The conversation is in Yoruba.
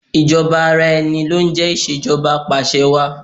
Ìjọba ara ẹni lọ ń jẹ́ Ìṣèjọba Apàṣẹwàá.